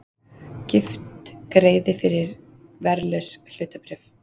Gift greiði fyrir verðlaus hlutabréf